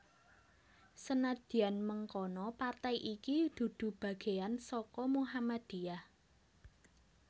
Senadyan mangkono partai iki dudu bagéyan saka Muhammadiyah